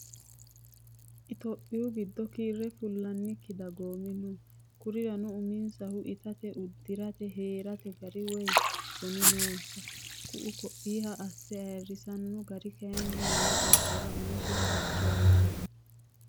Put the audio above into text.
Itophiyu giddo kiire fullannikki dagoomi no kurirano uminsahu itate uddirate heerate gari woyi soni noonsa ku"u koiha asse ayirrisano gari kayinni wole gobbara umosi rosicho aanoho.